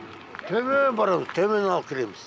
төмеен барамыз төменнен алып келеміз